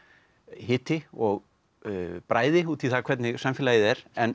hiti og bræði út í það hvernig samfélagið er en